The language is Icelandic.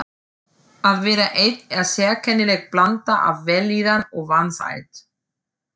Að vera einn er sérkennileg blanda af vellíðan og vansæld.